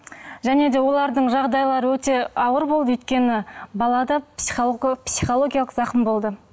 және де олардың жағдайлары өте ауыр болды өйткені балада психологиялық зақым болды